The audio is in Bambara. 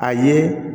A ye